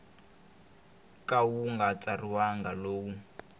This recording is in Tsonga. ka wu nga tsariwangi lowu